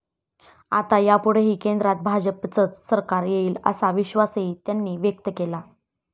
आता यापुढेही केंद्रात भाजपचेच सरकार येईल असा विश्वासही त्यांनी व्यक्त केला.